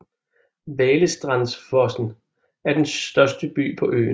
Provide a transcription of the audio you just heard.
Valestrandsfossen er den største by på øen